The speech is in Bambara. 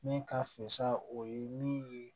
Min ka fesa o ye min ye